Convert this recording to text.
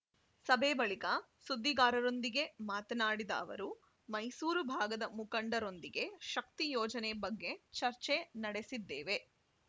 ಸಭೆ ಬಳಿಕ ಸುದ್ದಿಗಾರರೊಂದಿಗೆ ಮಾತನಾಡಿದ ಅವರು ಮೈಸೂರು ಭಾಗದ ಮುಖಂಡರೊಂದಿಗೆ ಶಕ್ತಿ ಯೋಜನೆ ಬಗ್ಗೆ ಚರ್ಚೆ ನಡೆಸಿದ್ದೇವೆ